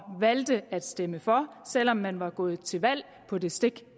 valgte at stemme for selv om man var gået til valg på det stik